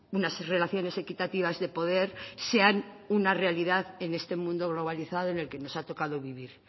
unas relaciones equitativas de poder sean una realidad en este mundo globalizado en el que nos ha tocado vivir